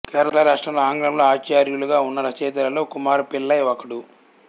కేరళ రాష్ట్రంలో ఆంగ్లంలో ఆచార్యులుగా ఉన్న రచయితలలో కుమార పిళ్లై ఒకడు